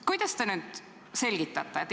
Kuidas te nüüd selgitate?